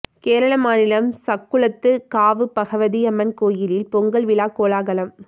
கேரள மாநிலம் சக்குளத்துக் காவு பகவதி அம்மன் கோயிலில் பொங்கல் விழா கோலாகலம்